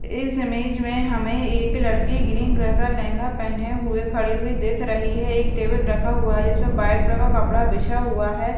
इस इमेज में हमें एक लड़की ग्रीन कलर का लहंगा पहने हुए खड़ी हुई देख रही है एक टेबल रखा हुआ है इसमें वाइट कलर का कपड़ा बिछा हुआ है।